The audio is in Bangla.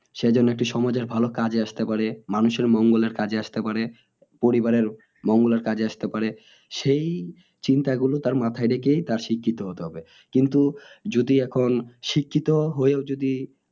সে জন্য একটি সমাজের ভালো কাজে আসতে পারে মানুষের মঙ্গলের কাজে আসতে পারে পরিবারের মঙ্গলের কাজে আসতে পারে সেই চিন্তা গুলো তার মাথাই রেখে তার শিক্ষিত হতে হবে কিন্তু যদি এখন শিক্ষিত হয়েও যদি